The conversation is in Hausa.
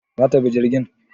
zata bi jirgin?